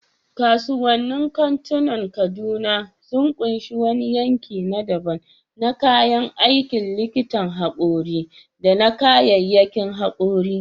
Kasuwannin kantunan Kaduna sun ƙunshi wani yanki na daban na kayan aikin likitan haƙori da na kayyayakin haƙori.